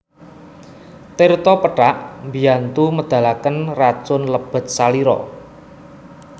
Tirta pethak mbiyantu medhalaken racun lebet salira